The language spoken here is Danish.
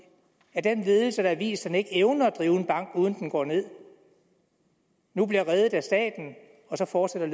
at den ledelse der har vist at den ikke evner at drive en bank uden at den går ned og nu bliver reddet af staten så fortsætter